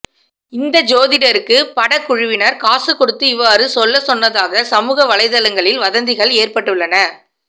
இந்த ஜோதிடருக்கு படக்குழுவினர் காசு கொடுத்து இவ்வாறு சொல்லச் சொன்னதாக சமூக வலைதளங்களில் வதந்திகள் ஏற்பட்டுள்ளன